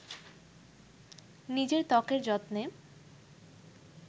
নিজের ত্বকের যত্ন